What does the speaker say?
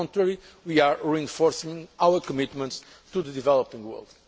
happen on the contrary, we are reinforcing our commitments to the developing